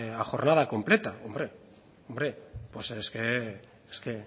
a jornada completa hombre hombre pues es que no